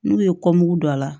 N'u ye don a la